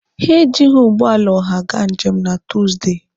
Ha ejighi ụgbọala ọha gaa njem na Tuusdey.